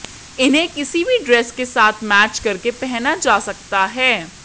इन्हें किसी भी ड्रेस के साथ मैच करके पहना जा सकता है